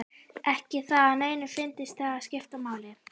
Ekki það að neinum fyndist það skipta máli.